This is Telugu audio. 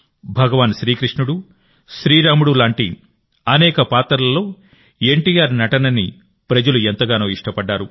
భగవాన్ శ్రీకృష్ణుడు శ్రీరాముడు లాంటి అనేక పాత్రలలో ఎన్టీఆర్ నటనని ప్రజలు ఎంతగానో ఇష్టపడ్డారు